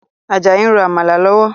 Ajayi n ro Àmàlà lọ́wọ́